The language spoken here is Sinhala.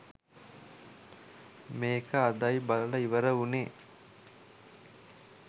මේක අදයි බලලා ඉවර වුණේ